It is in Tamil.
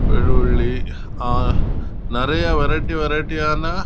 நெறைய வரியேட்டி வரியேட்டி ஆனா